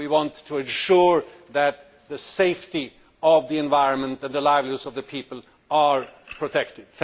we want to ensure that the safety of the environment and the livelihoods of the people are protected.